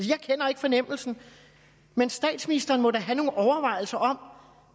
jeg kender ikke fornemmelsen men statsministeren må da have nogle overvejelser